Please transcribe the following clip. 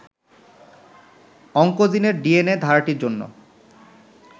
অংকোজিনের DNA ধারাটির জন্য